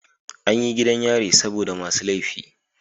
Anyi gidan yari saboda masu lefi